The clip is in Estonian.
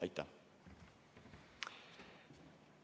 Aitäh!